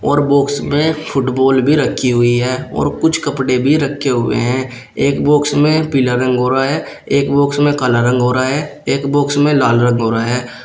और बॉक्स में फुटबॉल भी रखी हुई है और कुछ कपड़े भी रखे हुए हैं एक बॉक्स में पीला रंग हो रहा है एक बॉक्स में काला रंग हो रहा है एक बॉक्स में लाल रंग हो रहा है।